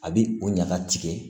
A bi o ɲaga tigɛ